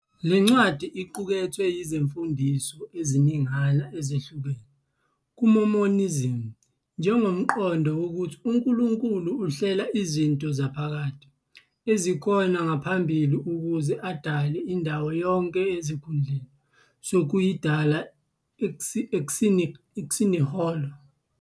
Le ncwadi iqukethe izimfundiso eziningana ezihlukile kumaMormonism, njengomqondo wokuthi uNkulunkulu uhlela izinto zaphakade, ezikhona ngaphambili ukuze adale indawo yonke esikhundleni "sokuyidala ex nihilo".